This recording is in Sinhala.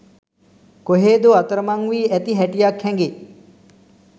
කොහේදෝ අතරමන් වී ඇති හැටියක් හැඟෙ.